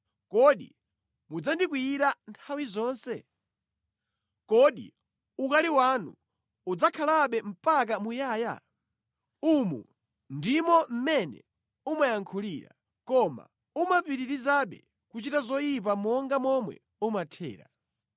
kodi mudzandikwiyira nthawi zonse? Kodi ukali wanu udzakhalabe mpaka muyaya?’ Umu ndimo mmene umayankhulira, koma umapitirizabe kuchita zoyipa monga momwe umathera.”